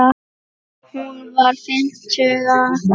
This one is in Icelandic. Hún var fimmtug að aldri.